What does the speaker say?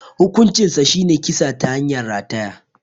Hukuncinsa shine kisa ta hanyar rataya.